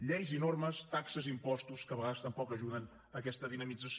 lleis i normes taxes i impostos que a vegades tampoc ajuden aquesta dinamització